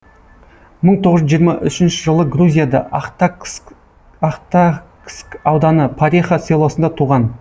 мың тоғыз жүз жиырма үшінші жылы грузияда ахтакск ауданы пареха селосында туған